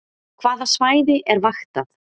Hvaða svæði er vaktað